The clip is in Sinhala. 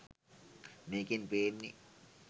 මේකෙන් පේන්නේ